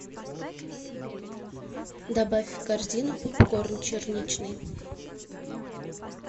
добавь в корзину попкорн черничный